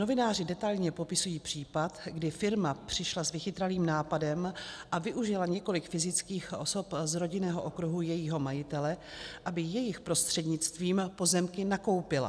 Novináři detailně popisují případ, kdy firma přišla s vychytralým nápadem a využila několik fyzických osob z rodinného okruhu jejího majitele, aby jejich prostřednictvím pozemky nakoupila.